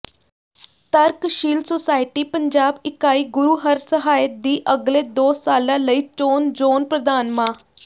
ਤਰਕਸ਼ੀਲ ਸੁਸਾਇਟੀ ਪੰਜਾਬ ਇਕਾਈ ਗੁਰੂਹਰਸਹਾਏ ਦੀ ਅਗਲੇ ਦੋ ਸਾਲਾਂ ਲਈ ਚੋਣ ਜ਼ੋਨ ਪ੍ਰਧਾਨ ਮਾ